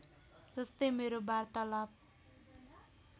जस्तै मेरो वार्तालाप